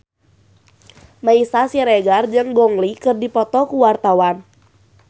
Meisya Siregar jeung Gong Li keur dipoto ku wartawan